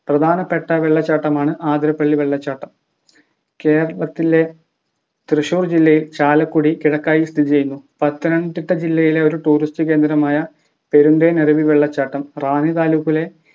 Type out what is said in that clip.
പ്രധാനപ്പെട്ട വെള്ളച്ചാട്ടമാണു ആതിരപ്പിള്ളി വെള്ളച്ചാട്ടം കേരളത്തിലെ തൃശ്ശൂർ ജില്ലയിൽ ചാലക്കുടി കിഴക്കായി സ്ഥിതി ചെയ്യുന്നു പത്തനംതിട്ട ജില്ലയിലെ ഒരു Tourist കേന്ദ്രമായ പെരുന്തേനരുവി വെള്ളച്ചാട്ടം റാന്നി താലൂക്കിലെ